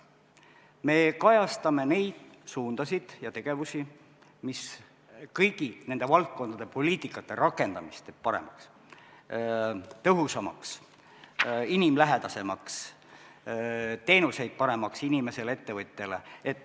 Me kajastame neid suundasid ja tegevusi, mis teeb kõigi nende valdkondade poliitikate rakendamise paremaks, tõhusamaks, inimlähedasemaks, teeb teenused paremaks inimesele ja ettevõtjale.